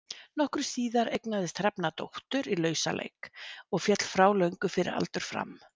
Nokkru síðar eignaðist Hrefna dóttur í lausaleik og féll frá löngu fyrir aldur fram.